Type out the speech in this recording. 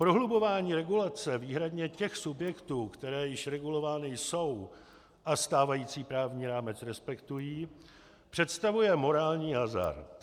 Prohlubování regulace výhradně těch subjektů, které již regulovány jsou a stávající právní rámec respektují, představuje morální hazard.